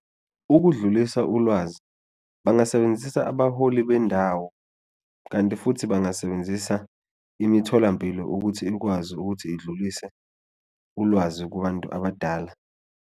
Ukudlulisa ulwazi angasebenzisa abaholi bendawo kanti futhi bangasebenzisa imitholampilo ukuthi ikwazi ukuthi idlulise ulwazi kubantu abadala.